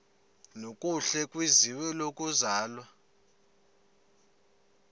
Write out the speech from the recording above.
nokuhle kwizwe lokuzalwa